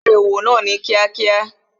Ṣé wa bẹ̀rẹ̀ òwò náà kíákíá?